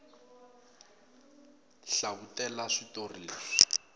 hlavutela switori leswi